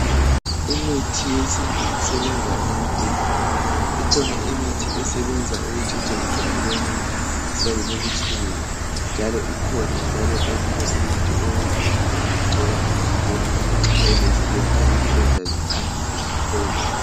Imithi yesintu isebenza into ezinengi. Ikhona imithi esebenza ukutshintsha ijwabu lomuntu lisale libutshelezi njalo ikhona njalo eminye imithi okuthi umuntu engayigcoba emzimbeni nxa elezilonda izilonda ziphangise ziphele.